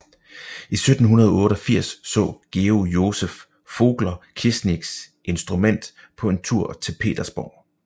I 1788 så Georg Joseph Vogler Kirsniks instrument på en tur til Petersborg